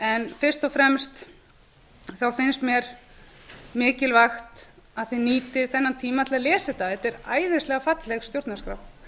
en fyrst og fremst finnst mér mikilvægt að þið nýtið þennan tíma til að lesa þetta þetta er æðislega falleg stjórnarskrá